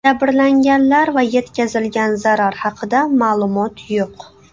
Jabrlanganlar va yetkazilgan zarar haqida ma’lumot yo‘q.